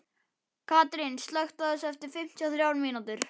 Karín, slökktu á þessu eftir fimmtíu og þrjár mínútur.